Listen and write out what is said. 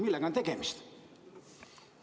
Millega on tegemist?